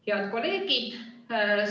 Head kolleegid!